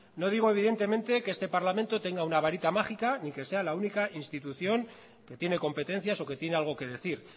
no digo evidentemente que este parlamento tenga una varita mágica ni que sea la única institución que tiene competencias o que tiene algo que decir